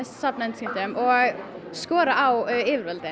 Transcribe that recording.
safna undirskriftum og skora á yfirvöldin